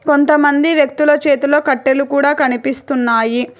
కొంతమంది వ్యక్తుల చేతిలో కట్టెలు కూడా కనిపిస్తున్నాయి.